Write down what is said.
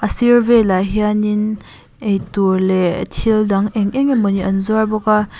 sir velah hianin eitur leh thil dang eng eng emaw ni an zuar bawk a.